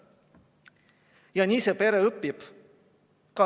Ja nii see pere õpib.